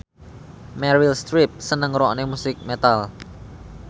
Meryl Streep seneng ngrungokne musik metal